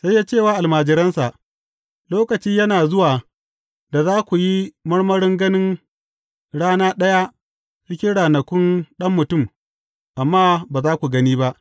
Sai ya ce wa almajiransa, Lokaci yana zuwa da za ku yi marmarin ganin rana ɗaya cikin ranakun Ɗan Mutum, amma ba za ku gani ba.